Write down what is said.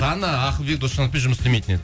дана ақылбек досжановпен жұмыс істемейтін еді